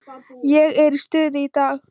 Ég er í stuði í dag.